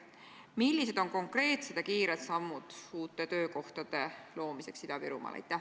Millised on konkreetsed ja kiired sammud uute töökohtade loomiseks Ida-Virumaal?